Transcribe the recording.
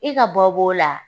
E ka bɔ b'o la?